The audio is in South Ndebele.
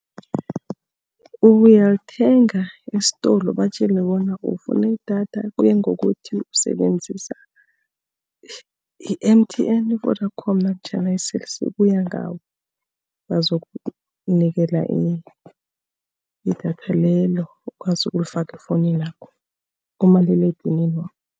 Uyalithenga esitolo, ubatjele bona ufuna idatha. Kuya ngokuthi usebenzisa i-M_T_N, Vodacom, namtjhana i-Cell C kuya ngawe. Bazokunikela idatha lelo, ukwazi ukulifaka efowunini yakho, kumaliledinini wakho.